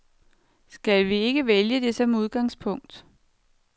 Skal vi ikke vælge det som udgangspunkt.